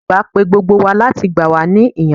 Olùkọ́ àgbà pe gbogbo wa láti gbà wá ní ìyànjú.